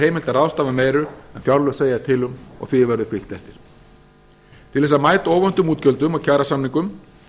heimilt að ráðstafa meiru en fjárlög segja til um og því verður fylgt eftir til þess að mæta óvæntum útgjöldum og kjarasamningum